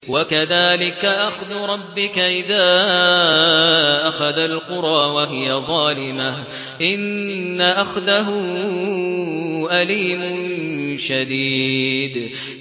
وَكَذَٰلِكَ أَخْذُ رَبِّكَ إِذَا أَخَذَ الْقُرَىٰ وَهِيَ ظَالِمَةٌ ۚ إِنَّ أَخْذَهُ أَلِيمٌ شَدِيدٌ